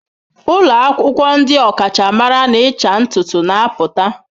Ụlọ akwụkwọ ndị ọkachamara n'ịcha ntutu na-apụta.